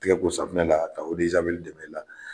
Tɛgɛ ko safinɛ na ka ta i la.